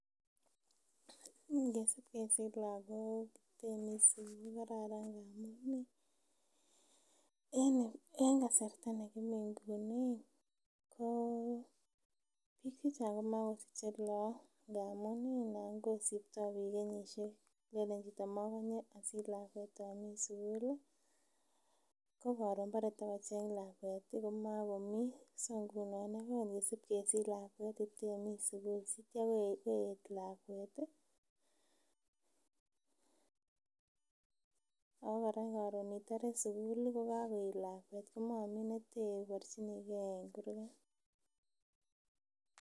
Ngesip kesich lakok itemii sukul kokararan amun ih en kasarta nekimii nguni ko biik chechang komakosiche look amun ih nan kosipto biik kenyisiek lenen chito mokonye osich lakwet omii sukul ih ko koron bore tokocheng lakwet ih komokomii so ngunon kongesip kesich lakwet itemii sukul sitya koeet lakwet ih ako kora koron itore sukul ih kokakoet lakwet komomii neteborchinigee en kurgat